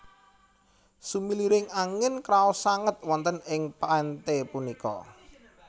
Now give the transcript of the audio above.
Sumiliring angin kraos sanget wonten ing pante punika